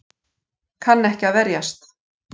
Kann ekki að verjast.